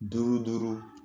Duuru duuru